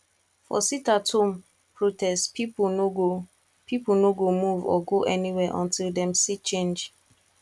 for sitathome protest pipo no go pipo no go move or go anywhere until dem see change